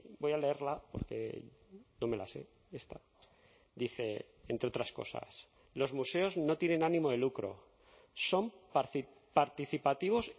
voy a leerla porque no me la sé esta dice entre otras cosas los museos no tienen ánimo de lucro son participativos